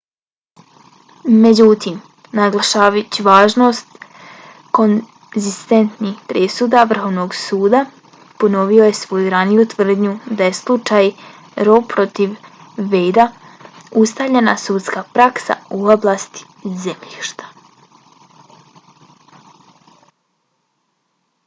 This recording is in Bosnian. međutim naglašavajući važnost konzistentnih presuda vrhovnog suda ,ponovio je svoju raniju tvrdnju da je slučaj roe protiv wade-a ustaljena sudska praksa u oblasti zemljišta .